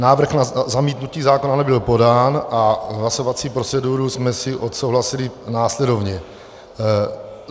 Návrh na zamítnutí zákona nebyl podán a hlasovací proceduru jsme si odsouhlasili následovně: